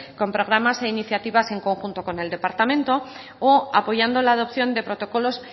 con programas e iniciativas en conjunto con el departamento o apoyando la adopción de protocolos